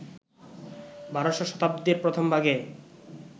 ১২শ শতাব্দীর প্রথমভাগে,